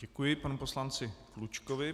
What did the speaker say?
Děkuji panu poslanci Klučkovi.